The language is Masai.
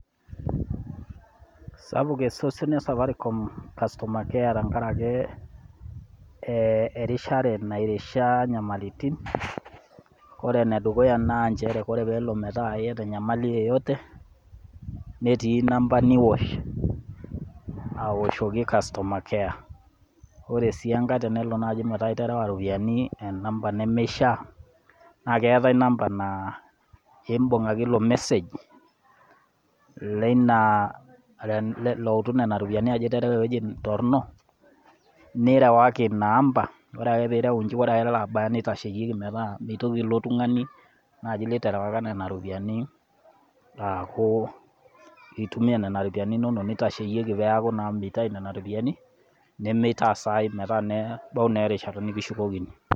Sapuk esosion e safaricom customer care tenkarake erishare nairishaa inyamalitin, ore enedukuya naa nchere ore peelo metaa eata enyamali yeyote netii namba niosh aoshoki customer care. Ore sii enkai naaji tenelo metaa iterewa iropiani enamba nemeishaa naa keatai namba naa imbung ake ilo message leina, loutu nena ropiani ajo iterewa eweji torrono, nirewaki inaamba, ore ake pee ireu inje ore elo abaya neitasheyieki metaa meitoki ilo tung'ani naaji literewaka nena ropiani aaku eitumia nena ropiani inono, neitasheyieki peaku naa meitayu nena ropiani nemeitaas ai metaa na nebau erishata nekishukokini.